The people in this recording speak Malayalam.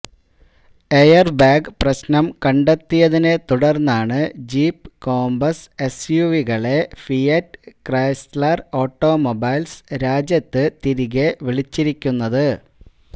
എയര്ബാഗ് പ്രശ്നം കണ്ടെത്തിയതിനെ തുടര്ന്നാണ് ജീപ് കോമ്പസ് എസ്യുവികളെ ഫിയറ്റ് ക്രൈസ്ലര് ഓട്ടോമൊബൈല്സ് രാജ്യത്ത് തിരികെ വിളിച്ചിരിക്കുന്നത്